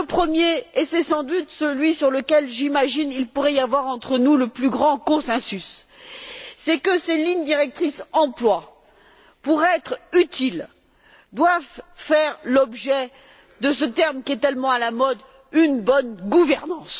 Le premier et c'est sans doute celui sur lequel, j'imagine, il pourrait y avoir entre nous le plus grand consensus c'est que ces lignes directrices emploi, pour être utiles, doivent faire l'objet de ce terme qui est tellement à la mode une bonne gouvernance.